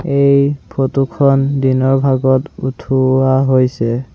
এই ফটো খন দিনৰ ভাগত উঠোৱা হৈছে।